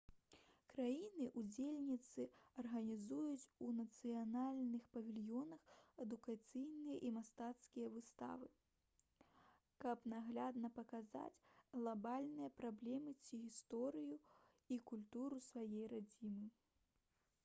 краіны-удзельніцы арганізуюць у нацыянальных павільёнах адукацыйныя і мастацкія выставы каб наглядна паказаць глабальныя праблемы ці гісторыю і культуру сваёй радзімы